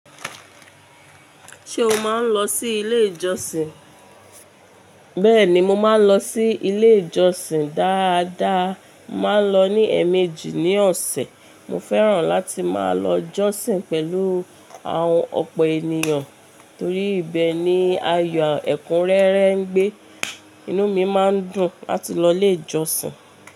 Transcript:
Ṣé o máa ń lọ sí ilé ìjọsìn? Bẹ́ẹ̀ni, mo máa ń lọ sí ilé ìjọsìn. Dáadáa, mo màá n lọ ní ẹ̀ẹ̀mejì ní ọ̀sẹ̀. Mo fẹ́ràn láti máa lọ jọ́sìn pẹ̀lú àwọn ọ̀pọ̀ ènìyàn torí ibẹ̀ ni ayọ̀ ẹ̀kúnrẹ́rẹ́ ń gbé. Inú mi máa ń dùn láti lọ ilé ìjọsìn.